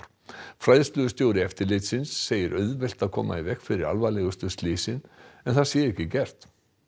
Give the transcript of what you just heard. fræðslustjóri eftirlitsins segir auðvelt að koma í veg fyrir alvarlegustu slysin en það sé ekki gert